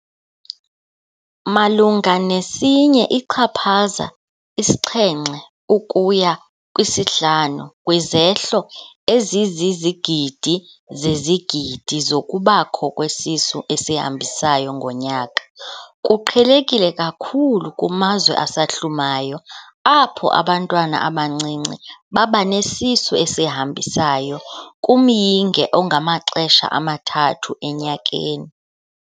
Malunga ne-1.7 ukuya 5 kwizehlo ezizizigidi zezigidi zokubakho kwesisu esihambisayo ngonyaka. Kuqhelekile kakhulu kumazwe asahlumayo, apho abantwana abancinci babanesisu esihambisayo kumyinge ongamaxesha amathathu enyakeni.